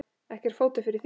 Ekki er fótur fyrir því.